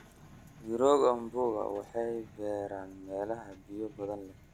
Mirooga mpunga waxay beertaa meelaha biyo badan leh.